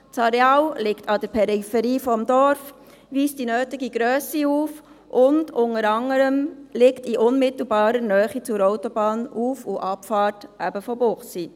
Das Areal liegt an der Peripherie des Dorfes, weist die nötige Grösse auf und liegt, unter anderem, in unmittelbarer Nähe der Autobahnauffahrt und -abfahrt von Münchenbuchsee.